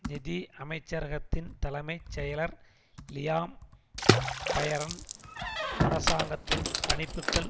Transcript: நிதி அமைச்சரகத்தின் தலைமை செயலர் லியாம் பயரன் அரசாங்கத்தின் கணிப்புக்கள்